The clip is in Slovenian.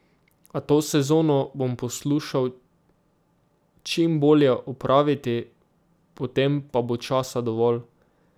A to sezono bom poslušal čim bolje opraviti, potem pa bo časa dovolj.